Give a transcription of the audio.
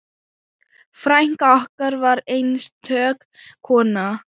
Frænka okkar var einstök kona.